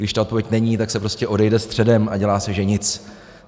Když ta odpověď není, tak se prostě odejde středem a dělá se, že nic.